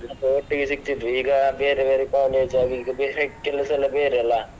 ಹೌದು ಒಟ್ಟಿಗೆ ಸಿಕ್ತಿದ್ವಿ ಈಗ ಬೇರೆ ಬೇರೆ college ಆಗಿ ಈಗ ಬೇರೆ ಕೆಲಸ ಎಲ್ಲ ಬೇರೆ ಅಲ್ಲ.